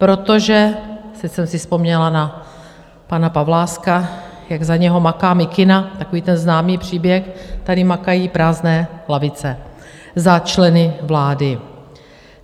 Protože - teď jsem si vzpomněla na pana Pavláska, jak za něho maká mikina, takový ten známý příběh - tady makají prázdné lavice za členy vlády.